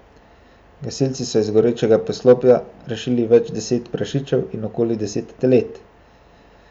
Gasilci so iz gorečega poslopja rešili več deset prašičev in okoli deset telet.